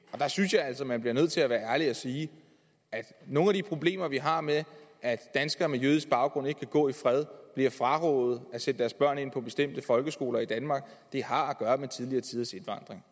og der synes jeg altså man bliver nødt til at være ærlig og sige at nogle af de problemer vi har med at danskere med jødisk baggrund ikke kan gå i fred og bliver frarådet at sætte deres børn i bestemte folkeskoler i danmark har at gøre med tidligere tiders indvandring